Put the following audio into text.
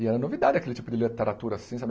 E era novidade aquele tipo de literatura assim sabe.